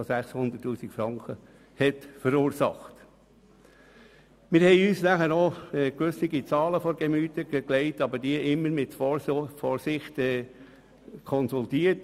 Wir haben uns auch gewisse Zahlen zu Gemüte geführt, aber diese immer mit Vorsicht konsultiert.